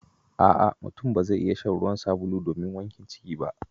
A'a! Mutum ba zai iya shan ruwan sabulu domin wankin ciki ba.